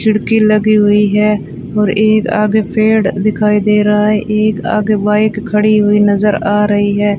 खिड़की लगी हुई है और एक आगे पेड़ दिखाई दे रहा है एक आगे बाइक खड़ी हुई नज़र आ रही है।